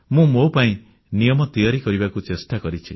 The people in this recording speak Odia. ମୁଁ ମୋ ପାଇଁ ନିୟମ ତିଆରି କରିବାକୁ ଚେଷ୍ଟା କରିଛି